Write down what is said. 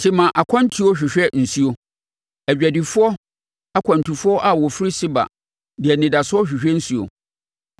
Tema akwantufoɔ hwehwɛ nsuo, adwadifoɔ akwantufoɔ a wɔfiri Seba de anidasoɔ hwehwɛ nsuo.